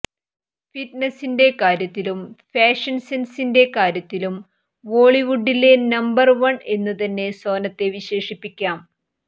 ഫിറ്റ്നസിന്റെ കാര്യത്തിലും ഫാഷന് സെന്സിന്റെ കാര്യത്തിലും ബോളിവുഡിലെ നമ്പര് വണ് എന്നു തന്നെ സോനത്തെ വിശേഷിപ്പിക്കാം